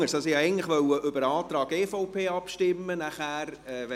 Ich wollte eigentlich über den Antrag EVP abstimmen lassen.